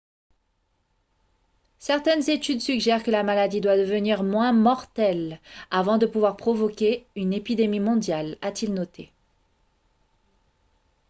certaines études suggèrent que la maladie doit devenir moins mortelle avant de pouvoir provoquer une épidémie mondiale a-t-il noté